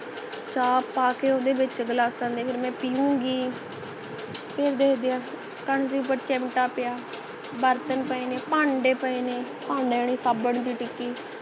ਚਾਹ ਪਾਕੇ ਓਹਦੇ ਵਿੱਚ ਗਿਲਾਸਾਂ ਦੇ ਫੇਰ ਮੈਂ ਪਿਯੂਨਗੀ ਫੇਰ ਦੇਖਦੇ ਹੈ ਚਿਮਪਟਾ ਪਿਆ ਬਰਤਨ ਪਏ ਨੇ ਭਾਂਡੇ ਪਏ ਨੇ ਭਾਂਡੇ ਨਹੀਂ ਸਾਬੁਨ ਦੀ ਟਿੱਕੀ